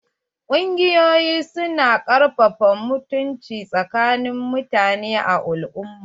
Kungiƴoyi su na ƙarfafa mutunci tsakanin mutanen al"umma.